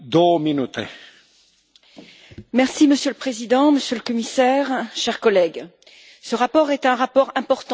Monsieur le Président, Monsieur le Commissaire, chers collègues, ce rapport est un rapport important pour l'avenir du secteur industriel et agricole.